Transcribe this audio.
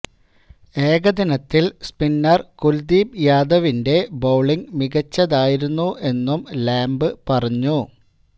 ഏകദിനത്തില് spinner Kuldeep യാദവിന്റെ bowling മികച്ചതായിരുന്നു എന്നും ലാംബ് പറഞ്ഞു